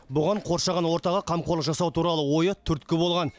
бұған қоршаған ортаға қамқорлық жасау туралы ойы түрткі болған